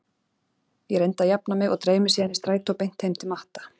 Ég reyndi að jafna mig og dreif mig síðan í strætó beint heim til Matta.